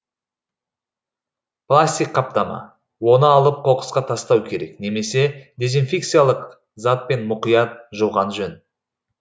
пластик қаптама оны алып қоқысқа тастау керек немесе дезинфекциялық затпен мұқият жуған жөн